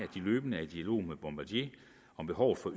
de løbende er i dialog med bombardier om behovet for